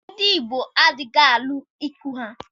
Ndị Igbo adịghị alụ ikwụ ha